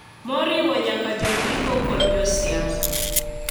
Moriwo nyaka jondiko kod jo siasa.